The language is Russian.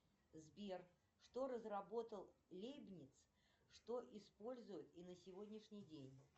сбер что разработал лебниц что используют и на сегодняшний день